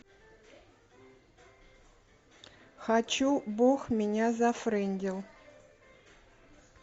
хочу бог меня зафрендил